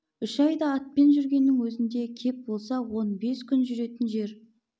үш айда атпен жүргеннің өзінде кеп болса он бес күн жүретін жер